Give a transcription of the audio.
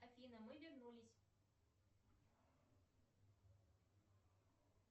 афина мы вернулись